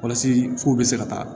Walasa f'u bɛ se ka taa